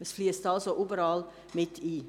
Es fliesst also überall mit ein: